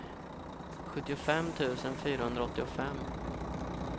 sjuttiofem tusen fyrahundraåttiofem